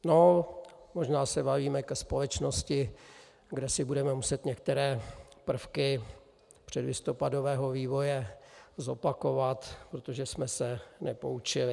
No, možná se valíme ke společnosti, kde si budeme muset některé prvky předlistopadového vývoje zopakovat, protože jsme se nepoučili.